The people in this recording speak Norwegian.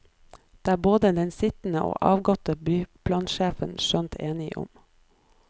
Det er både den sittende og avgåtte byplansjefen skjønt enige om.